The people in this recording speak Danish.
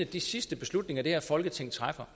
de sidste beslutninger som det her folketing træffer